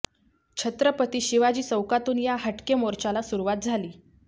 छत्रपती शिवाजी चौकातून या हटके मोर्चाला सुरवात झाली